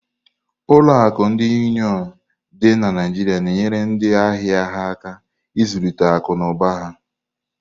Ụlọ akụ ndi Uniọn dị na Naijiria na-enyere ndị ahịa ya aka ịzụlite akụ na ụba ha.